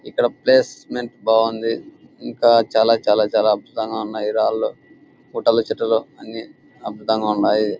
ఇక్కడ ప్లేసెమెంట్ బాగుంది. ఇంకా చాల చాల అద్భుతంగా ఉన్నాయ్ రాలు గుట్టలు చెట్లు అన్ని అద్భుతంగా ఉన్నాయ్.